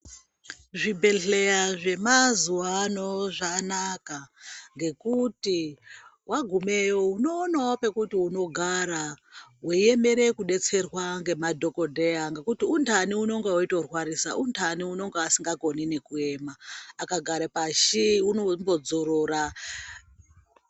Zvibhedhleya zvemazuva ano zvanaka. Ngekuti vagumeyo unoonavo pekuti unogara veiemere kubetserwa ngemadhogodheya. Ngekuti untani unonga uchito rwarisa, untani unonga asingatokoni nekuyema akagare pashi uneeimbo dzorora.